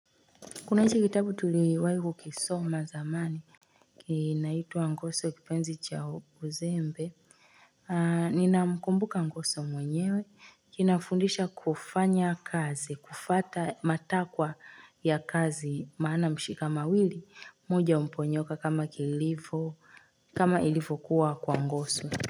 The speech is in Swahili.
Kuna hichi kitabu tuliwahi kukisoma zamani. Kinaitwa ngoso kipenzi cha uzembe. Ninamkumbuka ngoso mwenyewe kinafundisha kufanya kazi kufuata matakwa ya kazi maana mshikamawili moja humponyoka kama kilivo kama ilivyokuwa kwa ngoso.